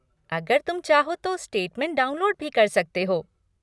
अगर तुम चाहो तो स्टेटमेंट डाउनलोड भी कर सकते हो।